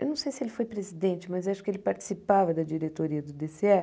Eu não sei se ele foi presidente, mas acho que ele participava da diretoria do dê cê é.